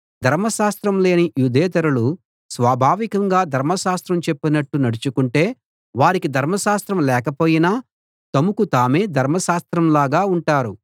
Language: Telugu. ధర్మశాస్త్రం లేని యూదేతరులు స్వాభావికంగా ధర్మశాస్త్రం చెప్పినట్టు నడుచుకుంటే వారికి ధర్మశాస్త్రం లేకపోయినా తమకు తామే ధర్మశాస్త్రంలాగా ఉంటారు